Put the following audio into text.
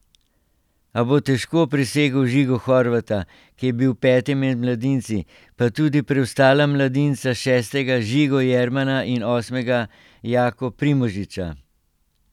A bo težko presegel Žigo Horvata, ki je bil peti med mladinci, pa tudi preostala mladinca šestega Žigo Jermana in osmega Jako Primožiča.